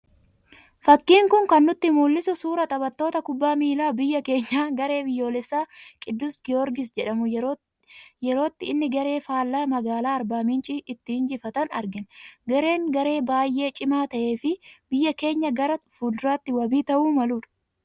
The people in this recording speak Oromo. Fakkiin kun kan nutti mul'isu, suuraa taphattoota kubbaa miilaa biyya keenyaa garee biyyoolessaa qidus goorgisii jedhamu yerootti ini garee faallaa magaalaa Arbaa minchii itti injifatan argina. Gareen garee baayyee cimaa ta'ee fi biyya keenyaa gara fulduraatti wabii ta'uu maludha.